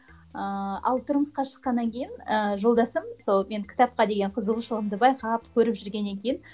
ыыы ал тұрмысқа шыққаннан кейін ыыы жолдасым сол менің кітапқа деген қызығушылығымды байқап көріп жүргеннен кейін